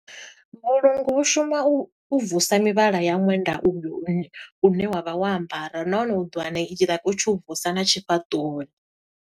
Vhulungu vhu shuma u vusa mivhala ya ṅwenda uyu u ne wa vha wo ambara. Nahone u ḓo wana i tshi like u tshi u vusa na tshifhaṱuwoni.